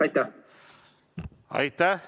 Aitäh!